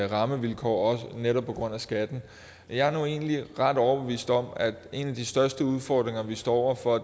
rammevilkår netop på grund af skatten jeg er nu egentlig ret overbevist om at en af de største udfordringer vi står over for